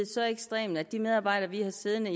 så ekstrem at de medarbejdere vi har siddende